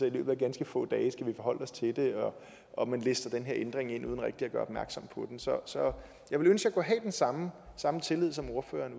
i løbet af ganske få dage skal forholde os til det og at man lister denne ændring ind uden rigtig at gøre opmærksom på den så så jeg ville ønske at have den samme samme tillid som ordføreren